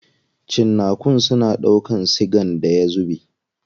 Cinnakun suna ɗaukan sigan da ya zube.